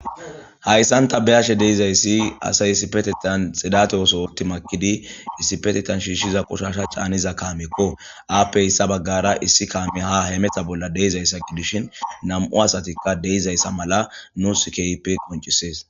Hausam ta neyashe dizaysi asay issipetetha xidate ooso pothi makidi issipetethan shishiza xidate kaameko haape hesa bagara issi kaamey ha hemeta bolla de'izaysa gifishin nam'u asatika de'izaysa mala nusi keehippe qoncisses